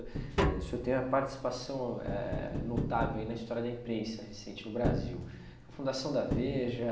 É o senhor tem uma participação eh eh notável na história da imprensa recente no Brasil, na Fundação da Veja.